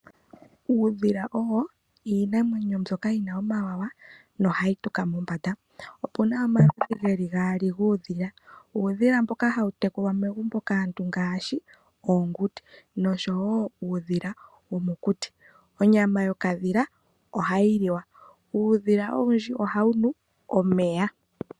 Uudhila owo iinamwenyo mbyoka yi na omawawa nohayi tuka mombanda. Opuna omaludhi geli gaali guudhila, uudhila mboka hawu tekulwa megumbo kaantu ngaashi oonguti noshowo uudhila womokuti. Onyama yokadhila ohayi liwa. Uudhila owundji ohawu nu omeya.